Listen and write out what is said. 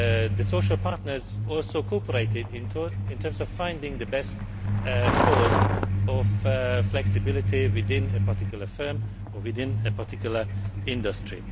The social partners also cooperated in terms of finding the best form of flexibility within a particular firm or within a particular industry.